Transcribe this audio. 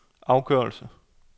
afgørelse